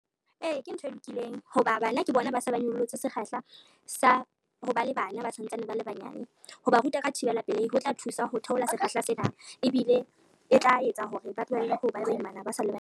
Ee, ke ntho e lokileng ho ba bana ke bona ba se ba nyollotse sekgahla sa ho ba le bana ba santsane ba le banyane, ho ba ruta ka thibela pelehi ho tla thusa ho theola sekgahla se nang ebile e tla etsa hore ba tlohelle ho ba baimana ba sa le banyane.